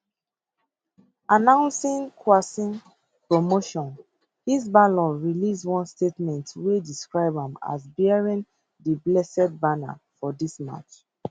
announcing qassem promotion hezbollah release one statement wey describe am as bearing di blessed banner for dis march